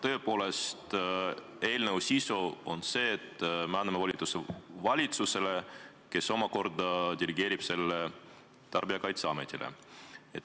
Tõepoolest, eelnõu sisu on see, et me anname volituse valitsusele, kes omakorda delegeerib selle tarbijakaitseametile.